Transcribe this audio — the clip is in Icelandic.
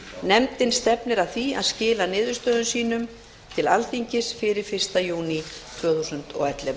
nefndin stefnir að því að skila niðurstöðum sínum til alþingis fyrir fyrsta júní tvö þúsund og ellefu